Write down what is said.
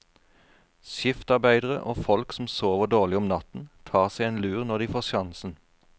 Skiftarbeidere og folk som sover dårlig om natten, tar seg en lur når de får sjansen.